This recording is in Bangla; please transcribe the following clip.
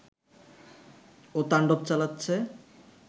ও তাণ্ডব চালাচ্ছে